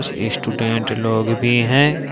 Student लोग भी हैं।